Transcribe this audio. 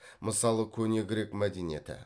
мысалы көне грек мәдениеті